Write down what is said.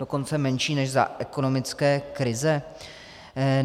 Dokonce menší než za ekonomické krize?